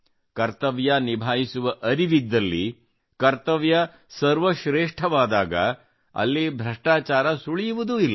ಕರ್ತವ್ಯ ನಿಭಾಯಿಸುವ ಅರಿವಿದ್ದಲ್ಲಿ ಕರ್ತವ್ಯ ಸರ್ವಶ್ರೇಷ್ಠವಾದಾಗ ಅಲ್ಲಿ ಭ್ರಷ್ಟಾಚಾರ ಸುಳಿಯುವುದೂ ಇಲ್ಲ